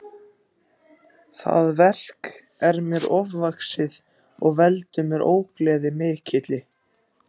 Það verk er mér ofvaxið og veldur mér ógleði mikilli.